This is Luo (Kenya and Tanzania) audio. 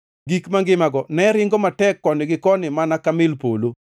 Gik mangimago ne ringo matek koni gi koni mana ka mil polo.